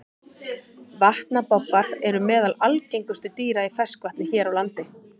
Vatnabobbar eru meðal algengustu dýra í ferskvatni hér á landi.